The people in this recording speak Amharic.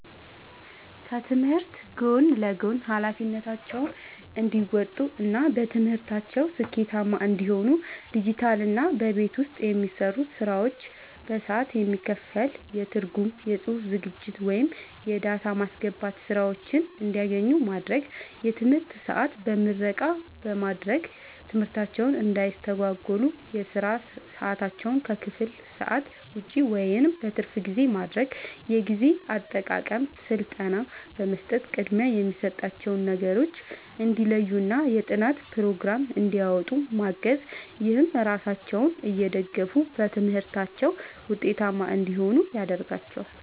ከትምህርት ጎን ለጎን ኃላፊነታቸውን እንዲወጡ እና በትምህርታቸው ስኬታማ እንዲሆኑ ዲጂታልና በቤት ውስጥ የሚሰሩ ስራዎች በሰዓት የሚከፈል የትርጉም፣ የጽሑፍ ዝግጅት ወይም የዳታ ማስገባት ሥራዎችን እንዲያገኙ ማድረግ። የትምህርት ሰዓት በምረቃ በማድረግ ትምህርታቸውን እንዳያስተጓጉል የሥራ ሰዓታቸውን ከክፍል ሰዓት ውጭ (በትርፍ ጊዜ) ማድረግ። የጊዜ አጠቃቀም ሥልጠና በመስጠት ቅድሚያ የሚሰጣቸውን ነገሮች እንዲለዩና የጥናት ፕሮግራም እንዲያወጡ ማገዝ። ይህም ራሳቸውን እየደገፉ በትምህርታቸው ውጤታማ እንዲሆኑ ያደርጋቸዋል።